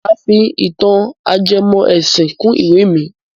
Máa fi ìtàn ajẹmọ́ ẹ̀sìn kún ìwẹ́ mi.